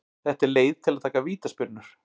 Þetta er leið til að taka vítaspyrnur.